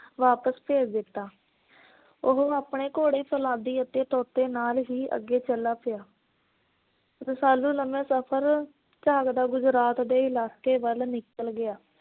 ਵਾਪਸ ਭੇਜ ਦਿੱਤਾ। ਉਹ ਆਪਣੇ ਘੋੜੇ ਅਤੇ ਫੌਲਾਦੀ ਨਾਲ ਹੀ ਅਗੇ ਚੱਲਾ ਪਿਆ। ਰਸਾਲੂ ਲੰਬਾ ਸਫਰ ਝਾਕਦਾ ਗੁਜਰਾਤ ਦੇ ਇਲਾਕੇ ਵੱਲ ਨਿਕਲ ਗਿਆ।